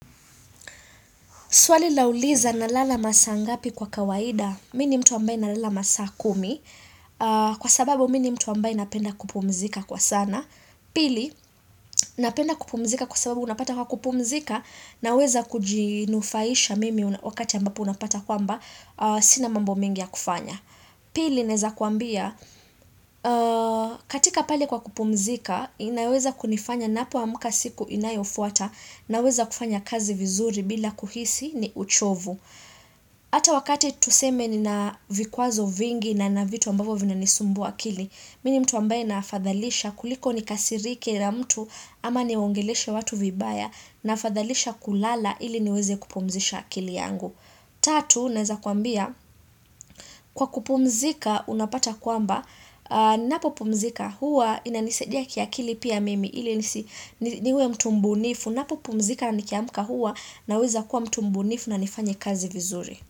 Swali lauliza na lala masaa ngapi kwa kawaida, mini mtu ambaye na lala masaa kumi, kwa sababu mini mtu ambaye napenda kupumzika kwa sana, pili napenda kupumzika kwa sababu unapata kwa kupumzika na weza kujinufaisha mimi wakati ambapo unapata kwamba sina mambo mingi ya kufanya. Pili, naeza kuambia, katika pale kwa kupumzika, inaweza kunifanya napo amuka siku inayofuata naweza kufanya kazi vizuri bila kuhisi ni uchovu. Ata wakati tuseme ni na vikwazo vingi na na vitu ambapo vina nisumbua kili, mini mtu ambaye naafadhalisha kuliko ni kasirike la mtu ama niongeleshe watu vibaya naafadhalisha kulala ili niweze kupumzisha akili yangu. Tatu, naweza kuambia, kwa kupumzika unapata kwamba, napo pumzika huwa ina nisaidia kia kili pia mimi ili niwe mtu mbunifu, napo pumzika na nikiamka huwa na weza kuwa mtumbunifu na nifanye kazi vizuri.